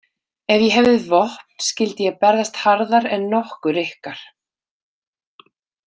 Ef ég hefði vopn skyldi ég berjast harðar en nokkur ykkar.